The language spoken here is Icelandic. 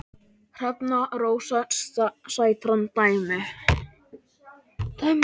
Hrefna Rósa Sætran dæmdi.